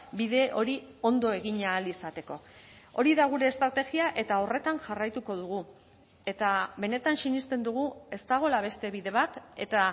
bide hori ondo egin ahal izateko hori da gure estrategia eta horretan jarraituko dugu eta benetan sinesten dugu ez dagoela beste bide bat eta